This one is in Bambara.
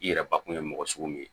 I yɛrɛ bakun ye mɔgɔ sugu min ye